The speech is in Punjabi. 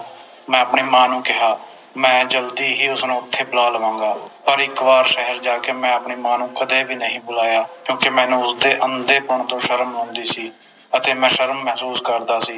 ਮੈਂ ਆਪਣੀ ਮਾਂ ਨੂੰ ਕਿਹਾ ਮੈਂ ਜਲਦੀ ਹੀ ਉਸਨੂੰ ਉਥੇ ਬੁਲਾ ਲਵਾਂਗਾ ਪਰ ਇਕ ਵਾਰ ਸ਼ਹਿਰ ਜਾ ਕੇ ਮੈਂ ਆਪਣੀ ਮਾਂ ਨੂੰ ਕਦੇ ਨਹੀਂ ਬੁਲਾਇਆ ਕਿਉਕਿ ਮੈਨੂੰ ਉਸਦੇ ਅੰਧੇਪੰਨ ਤੋਂ ਸ਼ਰਮ ਆਉਂਦੀ ਸੀ ਅਤੇ ਮੈਂ ਸ਼ਰਮ ਮਹਿਸੂਸ ਕਰਦਾ ਸੀ